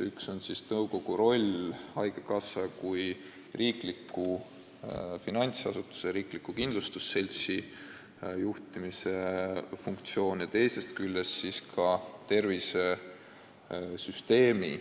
Üks on nõukogu roll haigekassa kui riikliku finantsasutuse ja riikliku kindlustusseltsi juhtimisel, teine roll on tervishoiusüsteemi